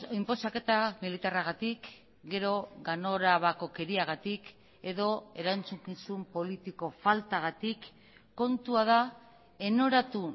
inposaketa militarragatik gero ganorabakokeriagatik edo erantzukizun politiko faltagatik kontua da enoratu